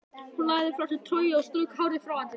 Hún lagði frá sér trogið og strauk hárið frá andlitinu.